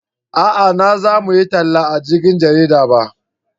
a'a na za mu yi talla a cikin jarida ba